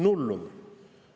Nullum!